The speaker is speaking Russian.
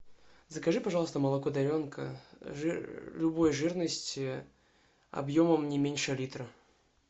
закажи пожалуйста молоко даренка любой жирности объемом не меньше литра